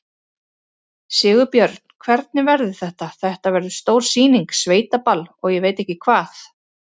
Sigurbjörn, hvernig verður þetta, þetta verður stór sýning, sveitaball og ég veit ekki hvað?